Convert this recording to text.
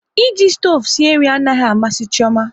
E ji stoovu sie nri anaghị amasị Chioma